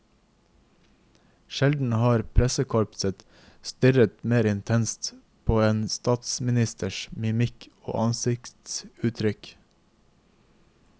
Sjelden har pressekorpset stirret mer intenst på en statsministers mimikk og ansiktsuttrykk.